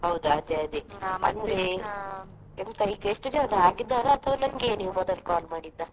ಹೌದು ಅದೇ ಅದೇ. ಎಂತ ಈಗ ಎಷ್ಟು ಜನ ಆಗಿದ್ದಾರಾ ಅಥವಾ ನಂಗೆಯೇ ನೀವು ಮೊದಲು call ಮಾಡಿದ್ದಾ?